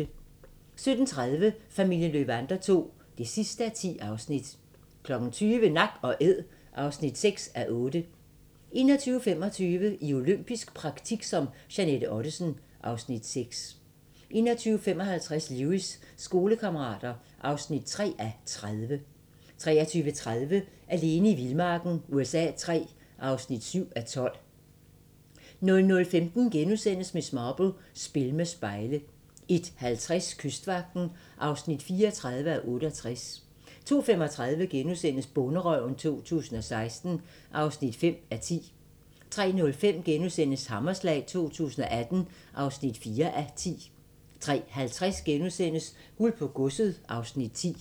17:30: Familien Löwander II (10:10) 20:00: Nak & Æd (6:8) 21:25: I olympisk praktik som Jeanette Ottesen (Afs. 6) 21:55: Lewis: Skolekammerater (3:30) 23:30: Alene i vildmarken USA III (7:12) 00:15: Miss Marple: Spil med spejle * 01:50: Kystvagten (34:68) 02:35: Bonderøven 2016 (5:10)* 03:05: Hammerslag 2018 (4:10)* 03:50: Guld på Godset (Afs. 10)*